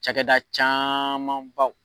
Cɛkɛda camanbaw.